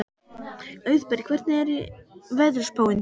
Auðberg, hvernig er veðurspáin?